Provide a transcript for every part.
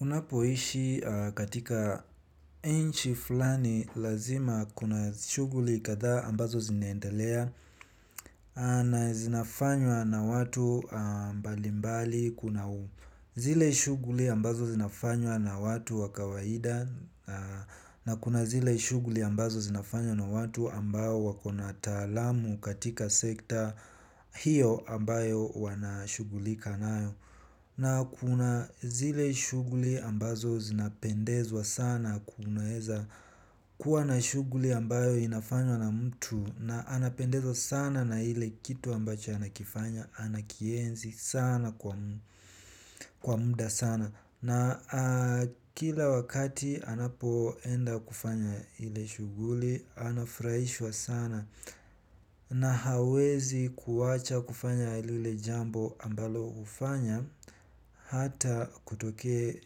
Unapoishi katika nchi fulani lazima kuna shughuli kadhaa ambazo ziniendelea na zinafanywa na watu mbalimbali kuna zile shughuli ambazo zinafanywa na watu wa kawaida na kuna zile shughuli ambazo zinafanywa na watu ambao wako na utaalamu katika sekta hiyo ambayo wanashughulika nayo. Na kuna zile shughuli ambazo zinapendezwa sana kunaweza kuwa na shughuli ambayo inafanywa na mtu na anapendezwa sana na ile kitu ambacho anakifanya anakienzi sana kwa muda sana. Na kila wakati anapoenda kufanya ile shughuli anafurahishwa sana na hawezi kuacha kufanya lile jambo ambalo hufanya hata kutokee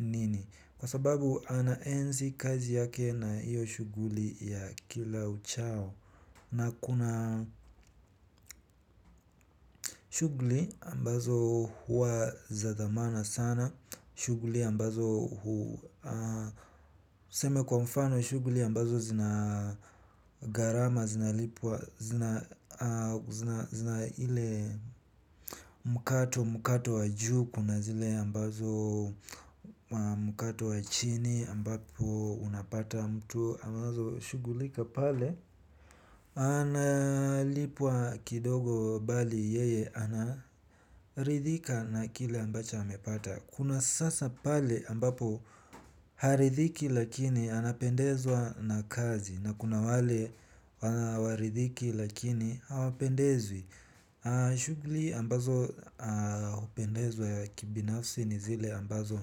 nini kwa sababu anaenzi kazi yake na iyo shughuli ya kila uchao. Na kuna shughuli ambazo huwa za dhamana sana, shughuli ambazo huu, ah, niseme kwa mfano shughuli ambazo zina gharama, zina, ah, zina, zina ile mkato mkato wa juu, kuna zile ambazo mkato wa chini ambapo unapata mtu ambazo shughulika pale. Analipwa kidogo bali yeye anaridhika na kile ambacho amepata. Kuna sasa pale ambapo haridhiki lakini anapendezwa na kazi, na kuna wale hawaridhiki lakini hawapendezwi. Shughuli ambazo hupendezwa ya kibinafsi ni zile ambazo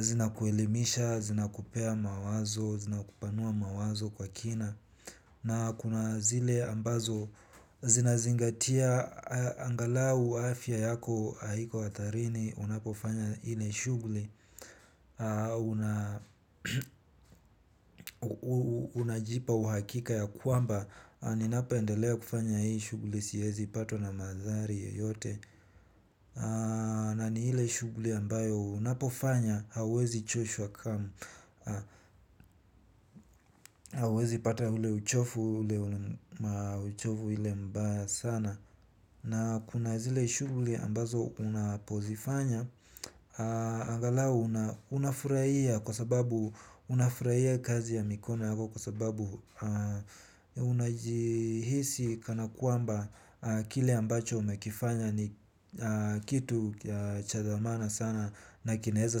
zinakuelimisha, zinakupea mawazo, zinakupanua mawazo kwa kina. Na kuna zile ambazo zinazingatia angalau afya yako haiko hatarini unapofanya ile shughuli. Unajipa uhakika ya kwamba ninapendelea kufanya hii shughuli siwezi patwa na madhara yoyote. Na ni ile shughuli ambayo unapofanya hauwezi choshwa kamwe. Hauwezi pata ule uchovu ule mbaya sana. Na kuna zile shughuli ambazo unapozifanya, angalau unafurahia kwa sababu unafurahia kazi ya mikono yako kwa sababu unajihisi kana kwamba kile ambacho umekifanya ni kitu cha dhamana sana nakinaweza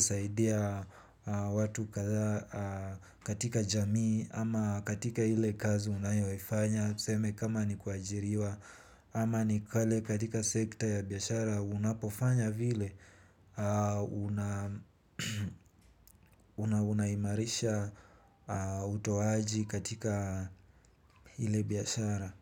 saidia watu kadhaa katika jamii ama katika ile kazi unayoifanya. Tuseme kama ni kuajiriwa ama ni kale katika sekta ya biashara unapofanya vile unaimarisha utoaji katika ile biashara.